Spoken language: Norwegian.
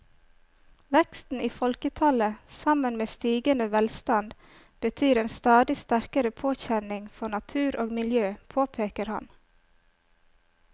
Veksten i folketallet sammen med stigende velstand betyr en stadig sterkere påkjenning for natur og miljø, påpeker han.